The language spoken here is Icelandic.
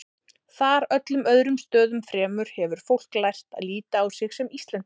Þar, öllum öðrum stöðum fremur, hefur fólk lært að líta á sig sem Íslendinga.